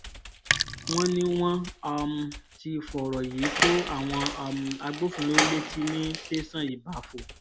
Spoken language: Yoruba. wọ́n ní wọ́n um ti fọ̀rọ̀ yìí tó àwọn um agbófinró létí ní tẹ̀sán ìbáfo